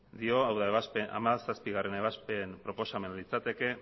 dio hau da hamazazpigarrena ebazpen proposamena litzateke